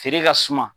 Feere ka suma